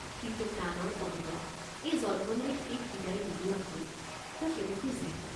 কিন্তু প্ৰাণৰ পদুমক এই জন্মলৈ শেষ বিদায় নোলোৱাকৈ তেওঁ কেনেকৈ যায়?